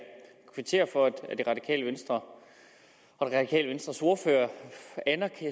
for at det radikale venstre og det radikale venstres ordfører